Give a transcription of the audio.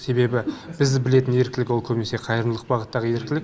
себебі біз білетін еріктілік ол көбінесе қайырымдылық бағыттағы еріктілік